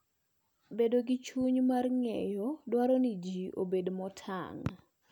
Bedo gi chuny mar ng'eyo dwaro ni ji obed motang '.